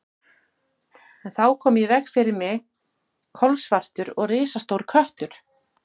En þá hljóp í veg fyrir mig kolsvartur og risastór köttur.